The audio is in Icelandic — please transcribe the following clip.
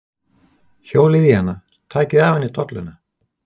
Hjólið í hana. takið af henni dolluna!